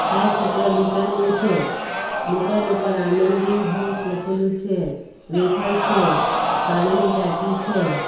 આ ચિત્ર દુકાનનું છે દુકાન ઉપર આનંદી હાઉસ લખેલું છે વેફર છે પાણીની ટાંકી છે.